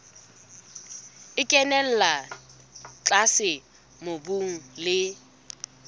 e kenella tlase mobung le